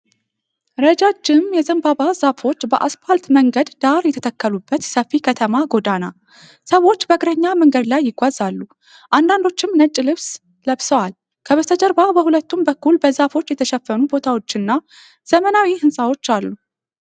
ረጃጅም የዘንባባ ዛፎች በአስፓልት መንገድ ዳር የተተከሉበት ሰፊ ከተማ ጎዳና። ሰዎች በእግረኛ መንገድ ላይ ይጓዛሉ፣ አንዳንዶቹም ነጭ ልብስ ለብሰዋል። ከበስተጀርባ በሁለቱም በኩል በዛፎች የተሸፈኑ ቦታዎች እና ዘመናዊ ህንጻዎች አሉ።